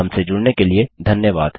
हमसे जुड़ने के लिए धन्यवाद